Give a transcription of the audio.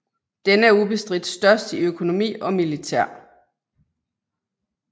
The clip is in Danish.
Denne er ubestridt størst i økonomi og militær